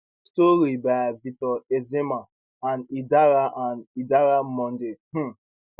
story by victor ezeama and idara and idara monday um